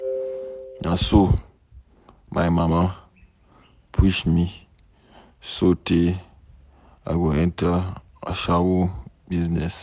Na so my mama push me so tey I go enter ashawo business.